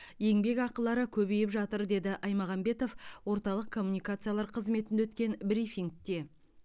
еңбекақылары көбейіп жатыр деді аймағамбетов орталық коммуникациялар қызметінде өткен брифингте